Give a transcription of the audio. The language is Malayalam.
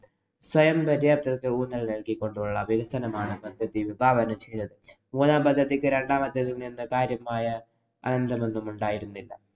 സ്വയംപര്യാപ്തതയ്ക്ക് ഊന്നല്‍ നല്‍കി കൊണ്ടുള്ള വികസനമാണ് പദ്ധതി വിഭാവനം ചെയ്തത്. മൂന്നാം പദ്ധതിക്ക് രണ്ടാം പദ്ധതിയില്‍ നിന്നും കാര്യമായ ബന്ധമൊന്നും ഉണ്ടായിരുന്നില്ല.